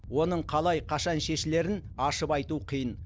оның қалай қашан шешілерін ашып айту қиын